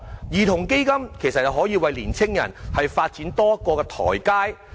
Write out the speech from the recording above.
兒童基金可以為年青人發展提供多一個台階。